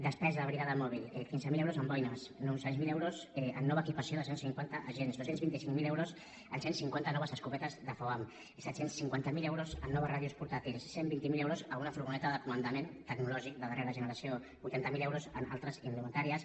despesa de brigada mòbil quinze mil euros en boines nou cents miler euros en nova equipació de cent cinquanta agents dos cents i vint cinc mil euros en cent cinquanta noves escopetes de foam set cents i cinquanta miler euros en noves ràdios portàtils cent i vint miler euros en una furgoneta de comandament tecnològic de darrera generació vuitanta miler euros en altres indumentàries